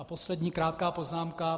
A poslední krátká poznámka.